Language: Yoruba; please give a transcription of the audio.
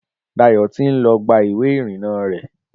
Dayọ̀ ti ń lọ gba ìwé ìrìna rẹ̀